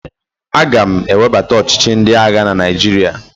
Aga m ewebata ọchịchị ndị agha na Naijiria.